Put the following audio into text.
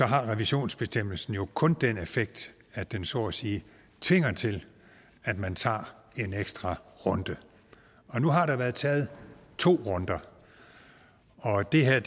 har revisionsbestemmelsen jo kun den effekt at den så at sige tvinger til at man tager en ekstra runde nu har der været taget to runder og det her